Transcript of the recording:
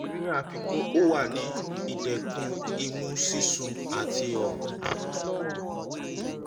ni afikun o wa ni idẹkun imu sisun ati ọfun